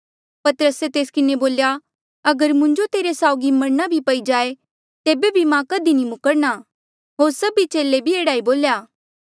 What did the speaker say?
पतरसे तेस किन्हें बोल्या अगर मुंजो तेरे साउगी मरणा भी पई जाए तेबे भी मां कधी नी मुखरणा होर सभी चेले भी एह्ड़ा बोल्या